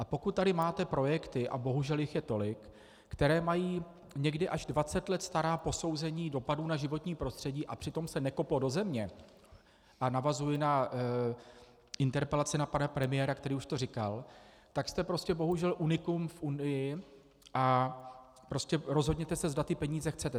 A pokud tady máte projekty, a bohužel jich je tolik, které mají někdy až 20 let stará posouzení dopadů na životní prostředí, a přitom se nekoplo do země - a navazuji na interpelaci na pana premiéra, který už to říkal -, tak jste prostě bohužel unikum v Unii a prostě rozhodněte se, zda ty peníze chcete.